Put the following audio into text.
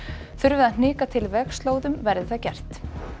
þurfi að hnika til vegslóðum verði það gert